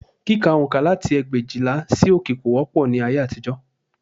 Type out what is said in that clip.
Kíka oǹkà láti ẹgbẹ̀éjìlá sí òkè kò wọ́pọ̀ ní ayé àtijọ́